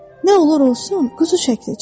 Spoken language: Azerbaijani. Nə olur olsun, quzu şəkli çək.